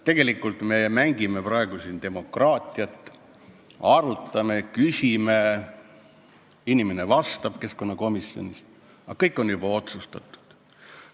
Tegelikult me mängime siin praegu demokraatiat, arutame ja küsime, inimene keskkonnakomisjonist vastab, aga kõik on juba otsustatud.